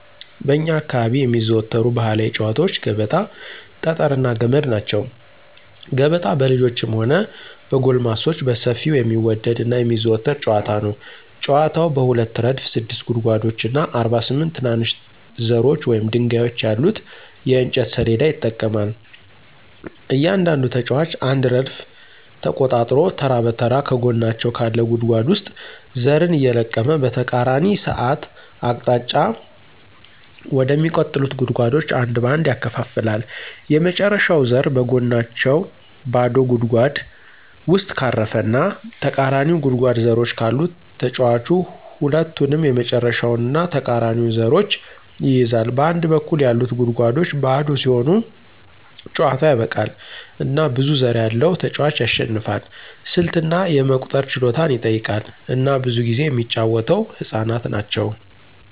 በእኛ አካባቢ የሚዘወተሩ ባህላዊ ጨዋታወች ገበጣ፣ ጠጠር እና ገመድ ናቸው። ገበጣ በልጆችም ሆነ በጎልማሶች በሰፊው የሚወደድ እና የሚዘወተር ጨዋታ ነው። ጨዋታው በሁለት ረድፍ ስድስት ጉድጓዶች እና 48 ትናንሽ ዘሮች ወይም ድንጋዮች ያሉት የእንጨት ሰሌዳ ይጠቀማል. እያንዳንዱ ተጫዋች አንድ ረድፍ ተቆጣጥሮ ተራ በተራ ከጎናቸው ካለ ጉድጓድ ውስጥ ዘርን እየለቀመ በተቃራኒ ሰዓት አቅጣጫ ወደሚቀጥሉት ጉድጓዶች አንድ በአንድ ያከፋፍላል። የመጨረሻው ዘር በጎናቸው ባዶ ጉድጓድ ውስጥ ካረፈ እና ተቃራኒው ጉድጓድ ዘሮች ካሉት ተጫዋቹ ሁለቱንም የመጨረሻውን እና ተቃራኒውን ዘሮች ይይዛል. በአንድ በኩል ያሉት ጉድጓዶች ባዶ ሲሆኑ ጨዋታው ያበቃል፣ እና ብዙ ዘር ያለው ተጫዋች ያሸንፋል። ስልት እና የመቁጠር ችሎታን ይጠይቃል፣ እና ብዙ ጊዜ የሚጫወተው ህፃናት ናቸው።